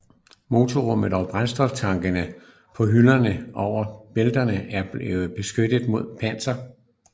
Motorrummet og brændstoftankene på hylderne over bælterne blev også beskyttet med panser